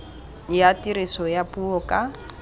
ya tiriso ya puo ka